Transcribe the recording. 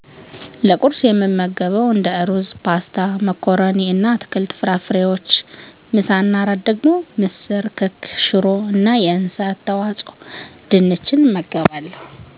ለቁርስ የምመገበዉ እንደ ሩዝ ፓስታ መኮረኒ እና አትክልት ፍራፍሬ እና ምሳ እና እራት ደግሞ ምስር ክክ ሽሮ እና የእንስሳት ተዋፅኦ ድንች